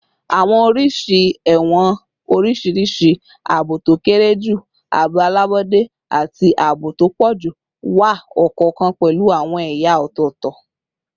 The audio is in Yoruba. Awọn oriṣi ẹwọn oriṣiriṣi - aabo to kere ju, aabo alabọde, ati aabo to pọ julọ - wa, ọkọọkan pẹlu awọn ẹya ọtọtọ